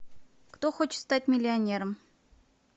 кто хочет стать миллионером